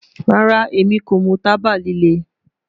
Rara, Emi ko mu taba lile